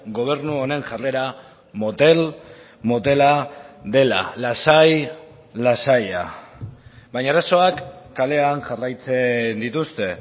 gobernu honen jarrera motel motela dela lasai lasaia baina arazoak kalean jarraitzen dituzte